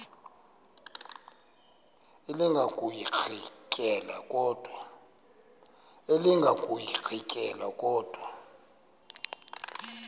elinga ukuyirintyela kodwa